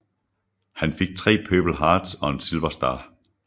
Han fik 3 Purple Hearts og en Silver Star